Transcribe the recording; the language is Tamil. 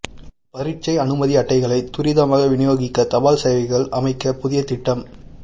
பரீட்சை அனுமதி அட்டைகளை துரிதமாக விநியோகிக்க தபால் சேவைகள் அமைச்சு புதிய திட்டம்